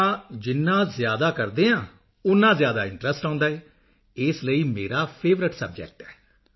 ਤਾਂ ਜਿੰਨਾ ਜ਼ਿਆਦਾ ਕਰਦੇ ਹਾਂ ਓਨਾ ਜ਼ਿਆਦਾ ਇੰਟਰੈਸਟ ਆਉਂਦਾ ਹੈ ਇਸ ਲਈ ਮੇਰਾ ਫੇਵਰਾਈਟ ਸਬਜੈਕਟ